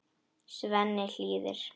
Svenni hlýðir.